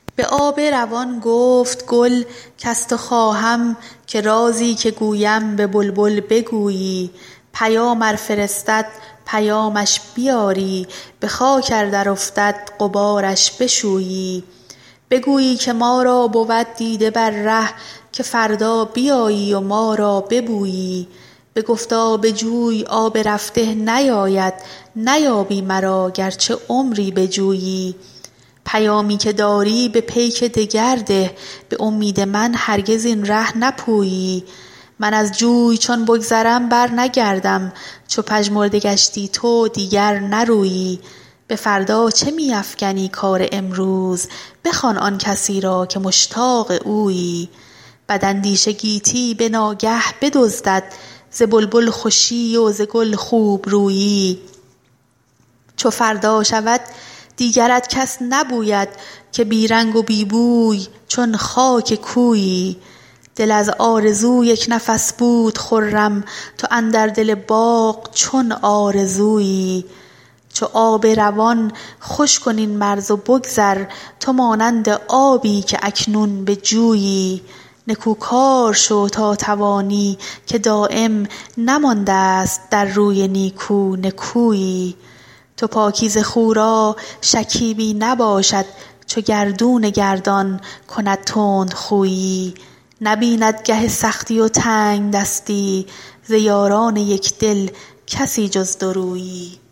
به آب روان گفت گل کز تو خواهم که رازی که گویم به بلبل بگویی پیام ار فرستد پیامش بیاری بخاک ار درافتد غبارش بشویی بگویی که ما را بود دیده بر ره که فردا بیایی و ما را ببویی بگفتا به جوی آب رفته نیاید نیابی مرا گرچه عمری بجویی پیامی که داری به پیک دگر ده بامید من هرگز این ره نپویی من از جوی چون بگذرم برنگردم چو پژمرده گشتی تو دیگر نرویی بفردا چه میافکنی کار امروز بخوان آنکسی را که مشتاق اویی بد اندیشه گیتی بناگه بدزدد ز بلبل خوشی و ز گل خوبرویی چو فردا شود دیگرت کس نبوید که بی رنگ و بی بوی چون خاک کویی دل از آرزو یکنفس بود خرم تو اندر دل باغ چون آرزویی چو آب روان خوش کن این مرز و بگذر تو مانند آبی که اکنون به جویی نکو کار شو تا توانی که دایم نمانداست در روی نیکو نکویی تو پاکیزه خو را شکیبی نباشد چو گردون گردان کند تندخویی نبیند گه سختی و تنگدستی ز یاران یکدل کسی جز دورویی